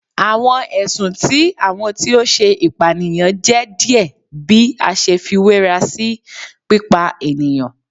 Awọn ẹsun ti awọn eniyan ti o ṣe ipaniyan jẹ diẹ bi a ṣe fiwera si pipa eniyan